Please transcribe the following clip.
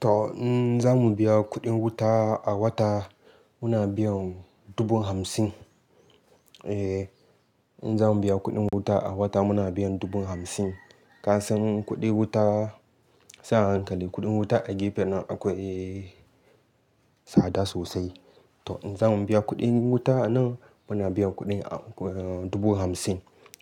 To in zamu biya kuɗin wuta a wata muna biyan dubu hamsin. Eh in zamu biya kuɗin wuta a wata muna biyan dubu hamsin. Kasan kuɗi wuta, sai hankali kuɗin wuta a gefen nan akwai tsada sosai. To in zamu biya kuɗin wuta nan muna biyan kuɗi dubu hamsin.